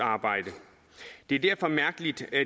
arbejde det er derfor mærkeligt at